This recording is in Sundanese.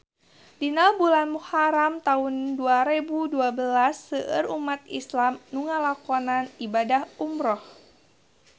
Dina bulan Muharam taun dua rebu dua belas seueur umat islam nu ngalakonan ibadah umrah